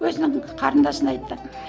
өзінің қарындасына айтты